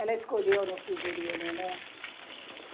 Ela escolheu no figurino, né?